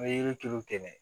N bɛ yiri tulu kɛ